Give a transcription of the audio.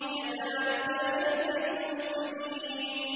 كَذَٰلِكَ نَجْزِي الْمُحْسِنِينَ